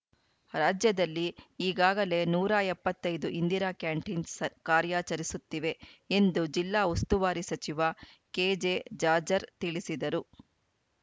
ರಾಜ್ಯದಲ್ಲಿ ಈಗಾಗಲೇ ನೂರ ಎಪ್ಪತ್ತ್ ಐದು ಇಂದಿರಾ ಕ್ಯಾಂಟೀನ್‌ ಕಾರ್ಯಾಚರಿಸುತ್ತಿವೆ ಎಂದು ಜಿಲ್ಲಾ ಉಸ್ತುವಾರಿ ಸಚಿವ ಕೆಜೆಜಾಜ್‌ರ್‍ ತಿಳಿಸಿದರು